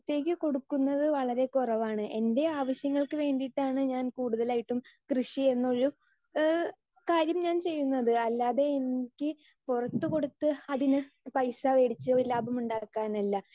speaker 2 പൊറത്തേക് കൊടുക്കുന്നത് വളരേ കുറവാണ് എൻ്റെ ആവിശ്യങ്ങൾക്ക് വേണ്ടീട്ടാണ് ഞാൻ കൂടുതലായിട്ടും കൃഷി എന്നൊരു ഏഹ് കാര്യം ഞാൻ ചെയുന്നത് അല്ലാതെ എനിക്ക് പൊറത്ത് കൊടുത്ത് അതിനെ പൈസ വെടിച്ച് ലാഭമുണ്ടാക്കാൻ അല്ല